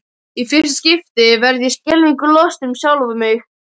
Í fyrsta skipti verð ég skelfingu lostin um sjálfa mig.